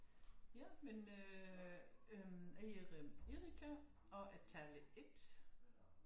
Ja men øh jeg hedder Erika og er taler 1